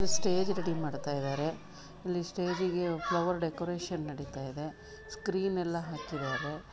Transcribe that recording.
Stage ready ಮಾಡ್ತಾ ಇದಾರೆ. ಅಲ್ಲಿ ಸ್ಟೇಜ್ಗೆ ಫ್ಲವರ್ ಡೆಕೊರೇಶನ್ ನಡೀತಾ ಇದೆ. ಸ್ಕ್ರೀನ್ ಎಲ್ಲಾ ಹಾಕಿದಾರೆ.